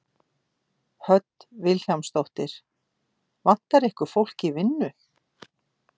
Hödd Vilhjálmsdóttir: Vantar ykkur fólk í vinnu?